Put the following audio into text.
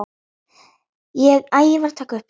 Ég get ekki hugsað mér að pipra!